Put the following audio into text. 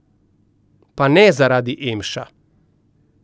Pa ne zaradi emša.